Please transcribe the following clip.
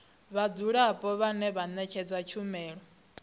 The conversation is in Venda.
vhadzulapo vhane vha ṅetshedzwa tshumelo